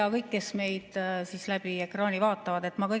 Ja kõik, kes meid ekraani kaudu vaatavad!